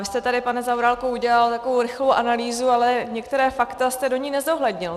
Vy jste tady, pane Zaorálku, udělal takovou rychlou analýzu, ale některá fakta jste do ní nezohlednil.